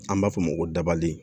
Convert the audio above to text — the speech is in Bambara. An b'a fɔ o ma ko dabali